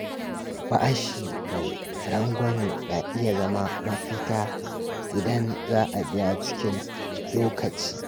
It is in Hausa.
Bashi mai rangwame na iya zama mafita idan za a biya cikin lokaci.